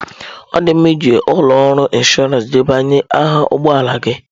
Ọ dị mma iji ụlọ ọrụ inshọransị debanye aha ụgbọ ala gị.